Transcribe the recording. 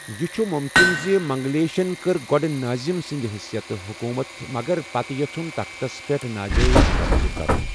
یہِ چھُ مُمکِن زِ منگلیشن کٕر گوٚڈٕ نٲضِم سٕندِ حثیتہٕ حکُومت مگر پتہٕ یژھُن تختس پیٹھ نا جٲیز قبضہٕ کرُن ۔